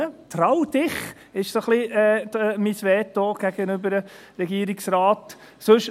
– Trau dich, ist mein Kredo dem Regierungsrat gegenüber.